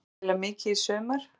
Mun hann spila mikið í sumar?